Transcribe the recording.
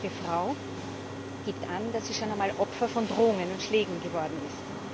Jede zweite Frau gibt an, dass sie schon einmal Opfer von Drohungen und Schlägen geworden ist.